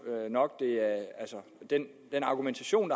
nok at den argumentation